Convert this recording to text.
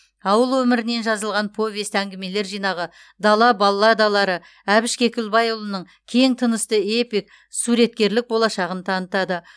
ауыл өмірінен жазылған повесть әңгімелер жинағы дала балладалары әбіш кекілбайұлының кең тынысты эпик суреткерлік болашағын танытады